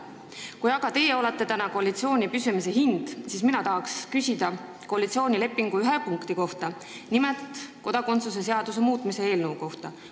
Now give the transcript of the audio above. Kui aga teie olete täna koalitsiooni püsimise hind, siis ma tahan küsida koalitsioonilepingu ühe punkti kohta, nimelt kodakondsuse seaduse muutmise kohta.